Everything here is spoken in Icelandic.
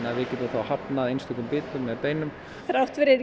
að við getum þá hafnað einstökum bitum með beinum þrátt fyrir